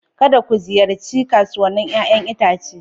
Kada ku ziyarci kasuwannin 'ƴa'ƴan itace!